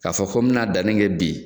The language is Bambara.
K'a fɔ ko mina danni kɛ bi.